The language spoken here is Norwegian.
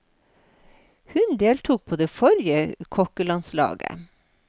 Hun deltok på det forrige kokkelandslaget.